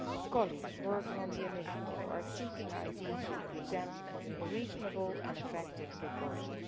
Colleagues working on the initiative are seeking ideas to present a reasonable and effective proposal.